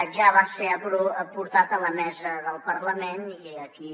ja va ser portat a la mesa del parlament i aquí